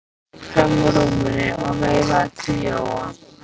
Hann stökk fram úr rúminu og veifaði til Jóa.